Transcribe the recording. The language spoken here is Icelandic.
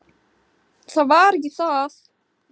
Það var ekki það.